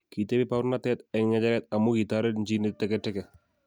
Kitepi baurnatet eng ngecheret amu kitaret nji neteteke.